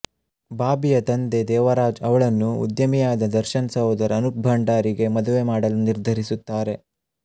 ಬಾಬಿಯ ತಂದೆ ದೇವರಾಜ್ ಅವಳನ್ನು ಉದ್ಯಮಿಯಾದ ದರ್ಶನ್ ಸಹೋದರ ಅನುಪ್ ಭಂಡಾರಿ ಗೆ ಮದುವೆ ಮಾಡಲು ನಿರ್ಧರಿಸುತ್ತಾನೆ